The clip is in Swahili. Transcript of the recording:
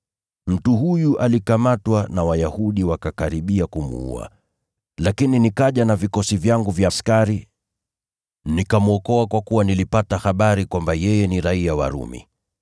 Mtu huyu alikamatwa na Wayahudi wakakaribia kumuua, lakini nikaja na vikosi vyangu vya askari nikamwokoa, kwa kuwa nilipata habari kwamba yeye ni raiya wa Rumi.